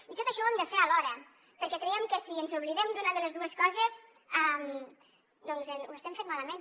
i tot això ho hem de fer alhora perquè creiem que si ens oblidem d’una de les dues coses ho estem fent malament